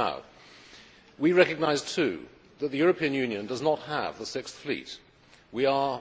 Now, we recognise too that the European Union does not have the Sixth Fleet. We are